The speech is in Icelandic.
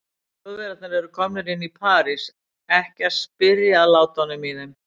Þjóðverjarnir eru komnir inn í París, ekki að spyrja að látunum í þeim.